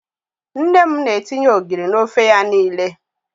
Nne m na-etinye ogiri n'ofe ya niile.